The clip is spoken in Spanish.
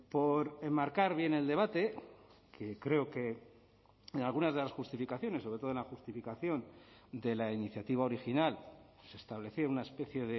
por enmarcar bien el debate que creo que en algunas de las justificaciones sobre todo en la justificación de la iniciativa original se establecía una especie